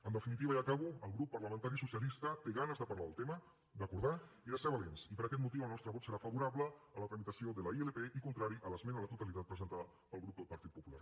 en definitiva i acabo el grup parlamentari socialista té ganes de parlar del tema d’acordar i de ser valents i per aquest motiu el nostre vot serà favorable a la tramitació de la ilp i contrari a l’esmena a la totalitat presentada pel grup del partit popular